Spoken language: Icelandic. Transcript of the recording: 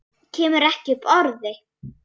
Kemur ekki upp orði.